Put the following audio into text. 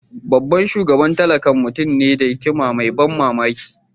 Babban shugaba tallakan mutum ne da hikima mai ban mamaki.